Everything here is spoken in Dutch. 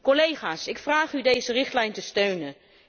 Collega's, ik vraag u deze richtlijn te steunen.